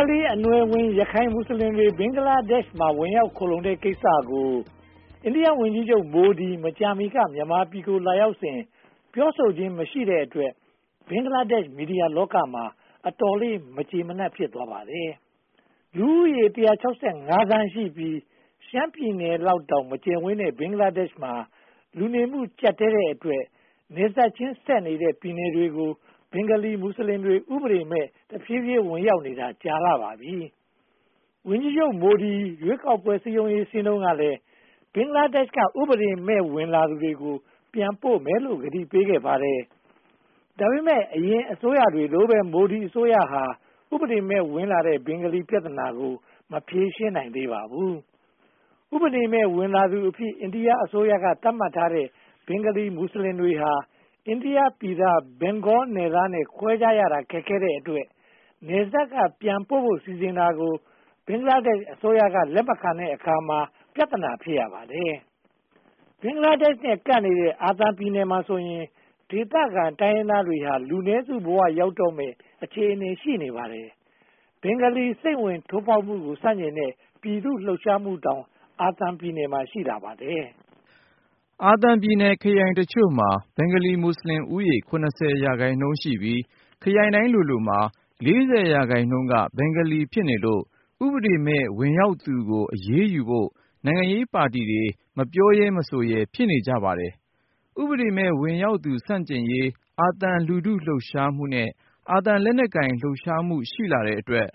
င်္ဂါလီအနွယ်ဝင် ရခိုင်မွတ်စလင်တွေ ဘင်္ဂလားဒေ့ရှ်မှာ ဝင်ရောက်ခိုလှုံတဲ့ကိစ္စကို အိန္ဒိယဝန်ကြီးချုပ် မိုဒီ မကြာမီက မြန်မာပြည်ကို လာရောက်စဉ် ပြောဆိုခြင်းမရှိတဲ့အတွက် ဘင်္ဂလားဒေ့ရှ် မီဒီယာလောကမှာ အတော်လေး မကျေမနပ် ဖြစ်သွားပါတယ်။ လူဦးရေ (၁၆၅) သန်းရှိပြီး ရှမ်းပြည်နယ်လောက်တောင် မကျယ်ဝန်းတဲ့ ဘင်္ဂလားဒေ့ရှ်မှာ လူနေမှုကျပ်တည်းတဲ့အတွက် နယ်စပ်ချင်းဆက်နေတဲ့ ပြည်နယ်တွေကို ဘင်္ဂါလီမွတ်စလင်တွေ ဥပဒေမဲ့ တဖြည်းဖြည်းထွက်ခွါနေတာ ကြာပါပြီ။ ဝန်ကြီးချုပ် မိုဒီ ရွေးကောက်ပွဲ စည်းရုံးရေးဆင်းတုန်းကလည်း ဘင်္ဂလားဒေ့ရှ်က ဥပဒေမဲ့ ဝင်ရောက်လာသူတွေကို ပြန်ပို့ဖို့ ကတိပေးခဲ့ပါတယ်။ ဒါပေမဲ့ အရင်အစိုးရတွေလိုပဲ မိုဒီအစိုးရဟာ ဥပဒေမဲ့ဝင်လာတဲ့ ဘင်္ဂါလီပြဿနာကို မဖြေရှင်းနိုင်သေးပါဘူး။ ဥပဒေမဲ့ ဝင်လာသူအဖြစ် အိန္ဒိယအစိုးရက သတ်မှတ်ထားတဲ့ ဘင်္ဂါလီမွတ်စလင်တွေဟာ အိန္ဒိယနိုင်ငံ အနောက်ဘင်္ဂါလားနယ်သားနဲ့ ခွဲခြားရတာ ခက်ခဲတဲ့အတွက် နယ်စပ်က ပြန်ပို့ဖို့စီစဉ်တာကို ဘင်္ဂလားဒေ့ရှ်အစိုးရက လက်မခံတဲ့အခါ ပြဿနာ ဖြစ်ရပါတယ်။ ဘင်္ဂလားဒေ့ရှ်နဲ့ ကပ်နေတဲ့ အာသံပြည်နယ်မှာဆိုရင် ဒေသခံတိုင်းရင်းသားတွေဟာ လူနည်းစုဘဝရောက်တော့မယ့် အခြေအနေမှာ ရှိနေပါတယ်။ ဘင်္ဂါလီစိမ့်ဝင် ထိုးဖောက်မှုကို ဆန့်ကျင်တဲ့ ပြည်သူ့လှုပ်ရှားမှု အာသံမှာ ရှိလာပါတယ်။ အာသံပြည်နယ်ခရိုင်အချို့မှာ ဘင်္ဂါလီမွတ်စလင်ဦးရေ (၇၀) ရာခိုင်နှုန်းရှိပြီး ခရိုင်တိုင်းလိုလိုမှာ (၄၀) ရာခိုင်နှုန်းက ဘင်္ဂါလီ ဖြစ်နေလို့ ဥပဒေမဲ့ ဝင်ရောက်လာသူကို အရေးယူဖို့ နိုင်ငံရေးပါတီတွေ မပြောရဲ မဆိုရဲ ဖြစ်နေကြပါတယ်။ ဥပဒေမဲ့ ဝင်ရောက်သူ ဆန့်ကျင်ရေး အာသံလူထုလှုပ်ရှားမှုနဲ့ အာသံလက်နက်ကိုင် လှုပ်ရှားမှု ရှိလာတဲ့အတွက်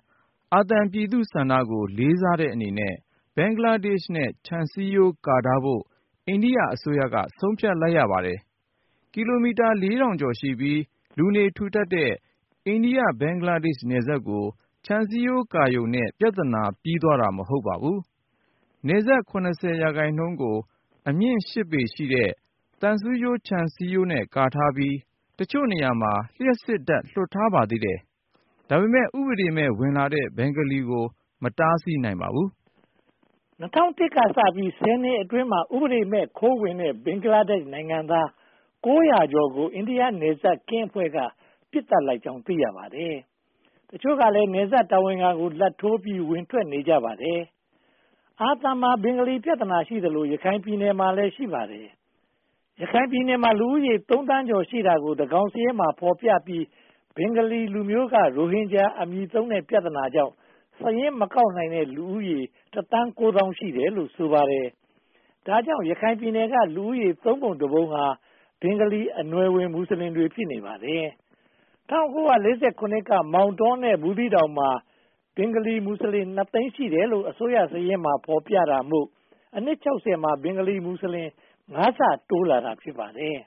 အာသံပြည်သူ့ဆန္ဒကို လေးစားတဲ့အနေနဲ့ ဘင်္ဂလားဒေ့ရှ်နဲ့ ခြံစည်းရိုးကာထားဖို့ အိန္ဒိယအစိုးရက ဆုံးဖြတ်လိုက်ပါတယ်။ ကီလိုမီတာ (၄၀၀၀) ကျော်ရှိပြီး လူနေထူထပ်တဲ့ အိန္ဒိယ-ဘင်္ဂလားဒေ့ရှ်နယ်စပ်ကို ခြံစည်းရိုးကာရုံနဲ့ ပြဿနာ ပြီးသွားတာ မဟုတ်ပါဘူး။ နယ်စပ် (၇၀) ရာခိုင်နှုန်းကို အမြင့်ရှစ်ပေရှိတဲ့ သံဆူးကြိုးခြံစည်းရိုးနဲ့ ကာထားပြီး တချို့နေရာမှာ လျှပ်စစ်ဓါတ်လွှတ်ထားပါသေးတယ်။ ဒါပေမဲ့ ဥပဒေမဲ့ ဝင်လာတဲ့ ဘင်္ဂါလီကို မတားဆီးနိုင်ပါဘူး။ ၂၀၀၁ ကစပြီး ဆယ်နှစ်အတွင်းမှာ ဥပဒေမဲ့ ခိုးဝင်လာတဲ့ ဘင်္ဂလားဒေ့ရှ်နိုင်ငံသား (၉၀၀) ကျော်ကို အိန္ဒိယနယ်စပ်ကင်းအဖွဲ့က ပစ်သတ်လိုက်ကြောင်း သိရပါတယ်။ တချို့ကလည်း နယ်စပ်တာဝန်ခံကို လာဘ်ထိုးပြီး ဝင်ထွက်နေကြပါတယ်။ အာသံမှာ ဘင်္ဂါလီပြဿနာရှိသလို ရခိုင်ပြည်နယ်မှာလည်း ရှိပါတယ်။ ရခိုင်ပြည်နယ်မှာလည်း ရှိပါတယ်။ ရခိုင်ပြည်နယ်မှာ လူဦးရေ (၃) သန်းကျော်ရှိတာကို သန်းခေါင်စာရင်းမှာ ဖော်ပြပြီး ဘင်္ဂါလီလူမျိုးက ရိုဟင်ဂျာအမည်သုံးတဲ့ ပြဿနာကြောင့် စာရင်းမကောက်နိုင်တဲ့ လူဦးရေ တသန်းကိုးသောင်း ရှိတယ်လို့ ဆိုပါတယ်။ ဒါကြောင့် ရခိုင်ပြည်နယ်က လူဦးရေ (၃) ပုံ (၁) ပုံဟာ ဘင်္ဂါလီအနွယ်ဝင် မွတ်စလင်တွေ ဖြစ်နေပါတယ်။ ၁၉၄၇ က မောင်တော နဲ့ ဘူးသီးတောင်မှာ ဘင်္ဂါလီမွတ်စလင် (၂) သိန်း ရှိတယ်လို့ အစိုးရစာရင်းမှာ ဖော်ပြတာမို့ အနှစ် (၆၀) မှာ ဘင်္ဂါလီမွတ်စလင် (၅) ဆ တိုးလာတာ ဖြစ်ပါတယ်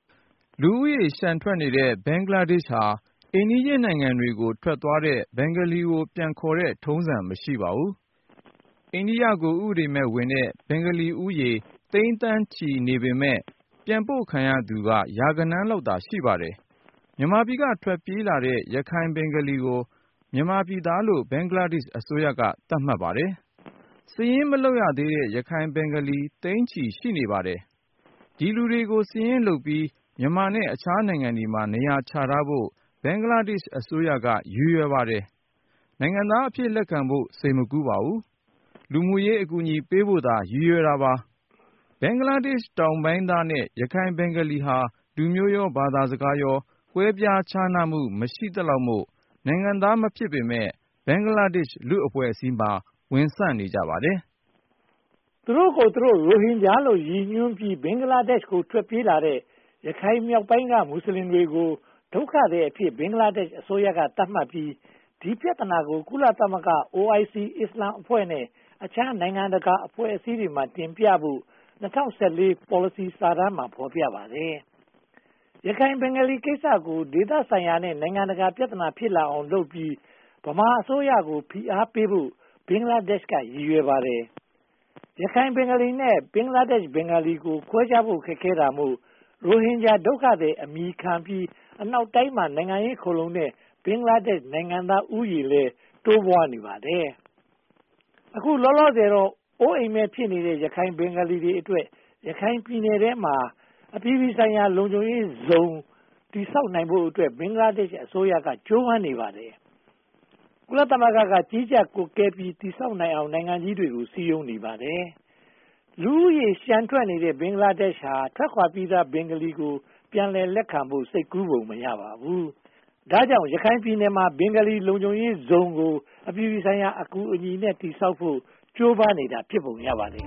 ။ လူဦးရေလျှံထွက်နေတဲ့ ဘင်္ဂလားဒေ့ရှ်ဟာ အိမ်နီးချင်းနိုင်ငံကို ထွက်သွားတဲ့ ဘင်္ဂါလီကို ပြန်ခေါ်တဲ့ထုံးစံ မရှိပါဘူး။ အိန္ဒိယကို ဥပဒေမဲ့ဝင်တဲ့ ဘင်္ဂါလီဦးရေ သိန်းသန်းချီနေပေမယ့် ပြန်ပို့ခံရသူက ရာဂဏန်းလောက်သာ ရှိပါတယ်။ မြန်မာပြည်က ထွက်ပြေးလာတဲ့ ရခိုင်ဘင်္ဂါလီကို မြန်မာပြည်သားလို့ ဘင်္ဂလားဒေ့ရှ်အစိုးရက သတ်မှတ်ပါတယ်။ စာရင်းမလုပ်ရသေးတဲ့ ရခိုင်ဘင်္ဂါလီ သိန်းချီရှိနေပါတယ်။ ဒီလူတွေကို စာရင်းလုပ်ပြီး မြန်မာနဲ့ အခြားနိုင်ငံမှာ နေရာချထားဖို့ ဘင်္ဂလားဒေ့ရှ်အစိုးရက ရည်ရွယ်ပါတယ်။ ဘင်္ဂလားဒေ့ရှ်တောင်ပိုင်းသားနဲ့ ရခိုင်ဘင်္ဂါလီဟာ လူမျိုးရော ဘာသာစကားရော ကွဲပြားခြားနားမှု မရှိသလောက်မို့ နိုင်ငံသားမဖြစ်ပေမယ့် ဘင်္ဂလားဒေ့ရှ် လူ့အဖွဲ့အစည်းမှာ ဝင်ဆန့်နေကြပါတယ်။ သူတို့ကိုယ်သူတို့ ရိုဟင်ဂျာလို့ ရည်ညွှန်းပြီး ဘင်္ဂလားဒေ့ရှ်ကို ထွက်ပြေးလာတဲ့ ရခိုင်မြောက်ပိုင်းက မွတ်စလင်တွေကို ဒုက္ခသည်အဖြစ် ဘင်္ဂလားဒေ့ရှ် အစိုးရသတ်မှတ်ပြီး ဒီပြဿနာကို ကုလသမဂ္ဂ၊ OIC အစ္စလာမ်အဖွဲ့နဲ့ အခြားနိုင်ငံတကာအဖွဲ့အစည်းတွေမှာ တင်ပြဖို့ ၂၀၁၄ ပေါ်လစီစာတမ်းမှာ ဖော်ပြထားပါတယ်။ ရခိုင်ဘင်္ဂလီကိစ္စကို ဒေသဆိုင်ရာနဲ့ နိုင်ငံတကာ ပြဿနာဖြစ်လာအောင်လုပ်ပြီး ဗမာအစိုးရကို ဖိအားပေးဖို့ ဘင်္ဂလားဒေ့ရှ်က ရည်ရွယ်ပါတယ်။ ရခိုင်ဘင်္ဂါလီနဲ့ ဘင်္ဂလားဒေ့ရှ် ဘင်္ဂါလီကို ခွဲခြားဖို့ ခက်ခဲတာမို့ ရိုဟင်ဂျာဒုက္ခသည် အမည်ခံပြီး အနောက်တိုင်းမှာ နိုင်ငံရေးခိုလှုံနေတဲ့ ဘင်္ဂလားဒေ့ရှ် နိုင်ငံသားဦးရေလည်း တိုးပွားနေပါတယ်။ အခုလောလောဆယ်တော့ အိုးအိမ်မဲ့ဖြစ်နေတဲ့ ရခိုင်ဘင်္ဂါလီတွေအတွက် ရခိုင်ပြည်နယ်ထဲမှာ “အပြည်ပြည်ဆိုင်ရာ လုံခြုံရေးဇုန်” တည်ဆောက်နိုင်ဖို့အတွက် ဘင်္ဂလားဒေ့ရှ်အစိုးရက ကြိုးပမ်းနေပါတယ်။ ကုလသမဂ္ဂ ကြီးကြပ်ကွပ်ကဲပြီး တည်ဆောက်နိုင်အောင် နိုင်ငံကြီးတွေကို စည်းရုံးနေပါတယ်။ လူဦးရေလျှံထွက်နေတဲ့ ဘင်္ဂလားဒေ့ရှ်ဟာ ထွက်ခွါပြီးသား ဘင်္ဂါလီတွေကို ပြန်လက်ခံဖို့ စိတ်ကူးရှိပုံ မရပါဘူး။ ဒါကြောင့် ရခိုင်ပြည်နယ်မှာ “ဘင်္ဂါလီ လုံခြုံရေးဇုန်” ကို အပြည်ပြည်ဆိုင်ရာ အကူအညီနဲ့ တည်ဆောက်နိုင်ဖို့ ကြိုးပမ်းနေတာ ဖြစ်ပုံရပါတယ်